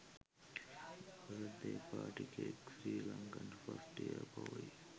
birthday party cake sri lanka 1st year boy